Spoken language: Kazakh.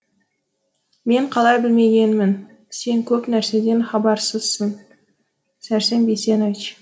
мен қалай білмегенмін сен көп нәрседен хабарсызсың сәрсен бейсенович